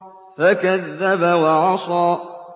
فَكَذَّبَ وَعَصَىٰ